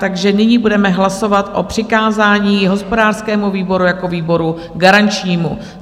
Takže nyní budeme hlasovat o přikázání hospodářskému výboru jako výboru garančnímu.